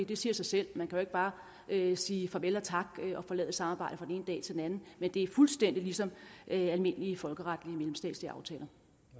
det siger sig selv at man jo ikke bare kan sige farvel og tak og forlade samarbejdet fra den ene dag til den anden men det er fuldstændig ligesom almindelige folkeretlige mellemstatslige aftaler